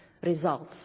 results.